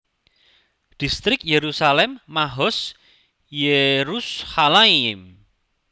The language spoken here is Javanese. Distrik Yerusalem Mahoz Yerushalayim